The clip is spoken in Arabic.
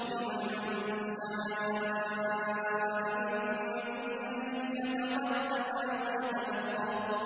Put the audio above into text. لِمَن شَاءَ مِنكُمْ أَن يَتَقَدَّمَ أَوْ يَتَأَخَّرَ